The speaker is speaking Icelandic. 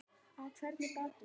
Á hvernig bátum veiðið þið?